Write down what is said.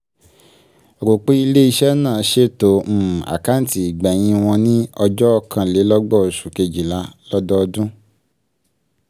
rò pé ilé- iṣẹ́ náà ṣètò um àkáǹtí ìgbẹ̀yìn wọ́n ni um ọjọ́ ọ̀kanlélọ́gbọ̀n oṣù kejìlá(31/12) lọ́dọọdún.